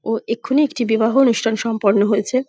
ও এক্ষুনি একটি বিবাহ অনুষ্ঠান সম্পন্ন হয়েছে ।